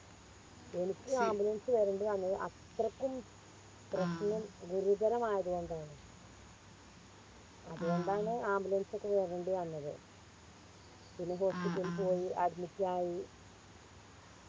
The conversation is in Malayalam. എനിക്ക് Ambulance വരണ്ടി വന്നത് അത്രക്കും പ്രശ്നം ഗുരുതരമായത് കൊണ്ടാണ് അത് കൊണ്ടാണ് Ambulance ഒക്കെ വരണ്ടി വന്നത് പിന്നെ hospital പോയി Admit ആയി